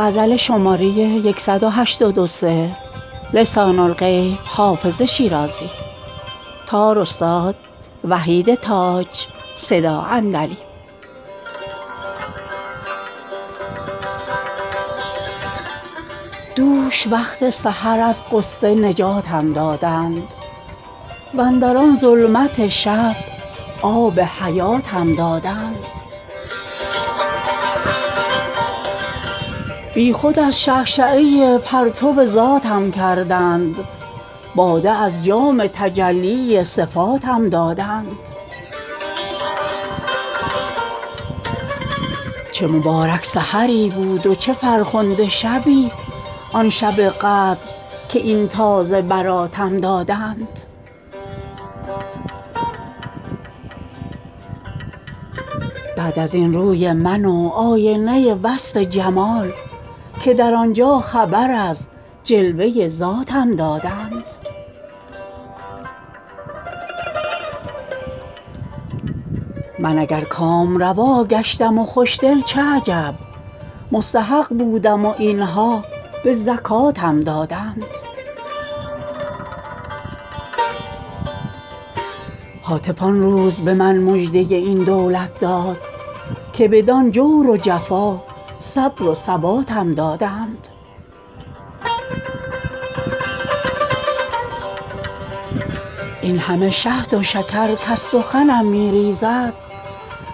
دوش وقت سحر از غصه نجاتم دادند واندر آن ظلمت شب آب حیاتم دادند بی خود از شعشعه پرتو ذاتم کردند باده از جام تجلی صفاتم دادند چه مبارک سحری بود و چه فرخنده شبی آن شب قدر که این تازه براتم دادند بعد از این روی من و آینه وصف جمال که در آن جا خبر از جلوه ذاتم دادند من اگر کامروا گشتم و خوش دل چه عجب مستحق بودم و این ها به زکاتم دادند هاتف آن روز به من مژده این دولت داد که بدان جور و جفا صبر و ثباتم دادند این همه شهد و شکر کز سخنم می ریزد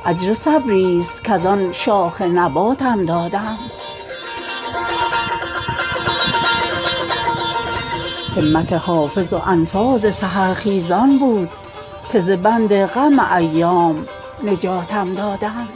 اجر صبری ست کز آن شاخ نباتم دادند همت حافظ و انفاس سحرخیزان بود که ز بند غم ایام نجاتم دادند